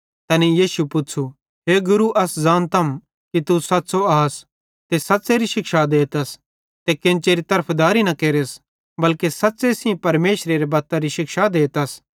तैनेईं यीशु पुच़्छ़ू हे गुरू अस ज़ानतम कि तू सच़्च़ो आस ते सच़्च़ेरी शिक्षा देतस ते केन्चेरी तरफदारी न केरस बल्के सच़्च़े सेइं परमेशरेरी बत्तरी शिक्षा देतस